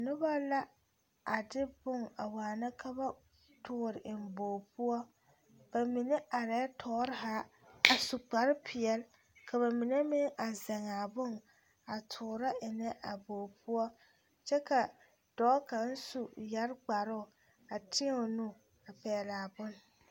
Diyɛloŋ la dokogro ne tabolɔ a biŋ kaa nobɔ a gaa ti zeŋ toore lɛ kyɛ ka dokogro mine ba naŋ penti peɛle a biŋ a yoŋ ka neɛ zaa ba zeŋ a na kaŋ zaa zu.